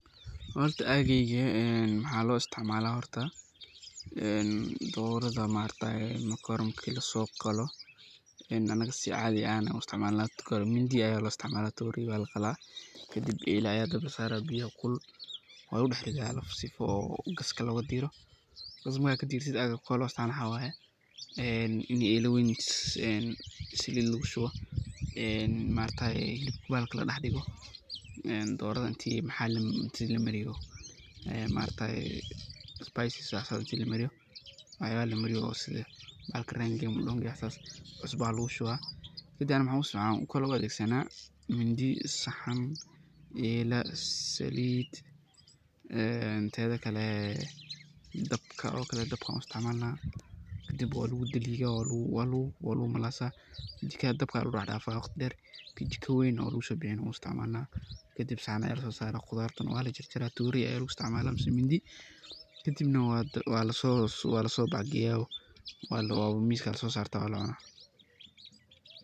Horta ageyga maxa lo isticmala dorada marki laso qalo ,mindi aya laisticmala oo elaa aa dabka lasaraa ,kadib biyo kulul waa lagu daxridha sifaa oo gaska loga diro .Marka aad kadirtid waa ina elaa kale oo weyn salid lagu shubo oo bahalka ladah dhigo ,dorada inti spices inti lamariyo oo sidha bahalka rangiga madongega iyo wax sas ah ,cusba aa lagu shuba. Kadibna waxan kale u isticmalna oo u adegsana, mindi, ela ,salid een tedha kale dabka aan u isticmalna ,kadib waa lagu daliga ,waa lagu malasa ,jikadha aa lagu dax dafaa ,kajiko weyn oo lagu sobixiyo waa lagu dax dafaa ,kadib saxan ayaa lagu so dax dafaa oo saxni weyn ayaa lagu kena oo mindhi kadibna walaso kena oo miska laso sarta oo waa lacuna.